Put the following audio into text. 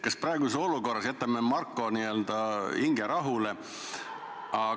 Kas praeguses olukorras jätame Marko hinge rahule?